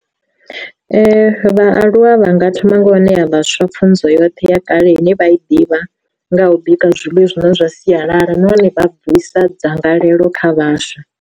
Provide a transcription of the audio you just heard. Vhaaluwa vha nga thoma nga u ṋea vhaswa pfhunzo yoṱhe ya kale ine vha i ḓivha, nga u bika zwiḽiwa zwine zwa sialala nahone vha bvisa dzangalelo kha vhaswa.